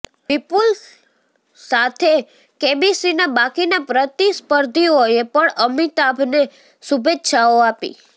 વિપુલ સાથે કેબીસીના બાકીના પ્રતિસ્પર્ધીઓએ પણ અમિતાભને શુભેચ્છાઓ આપી